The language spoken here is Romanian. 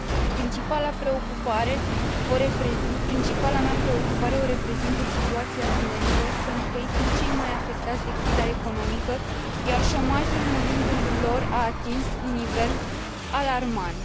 Principala mea preocupare o reprezintă situația tinerilor, pentru că ei sunt cei mai afectați de criza economică, iar șomajul în rândul lor a atins un nivel alarmant.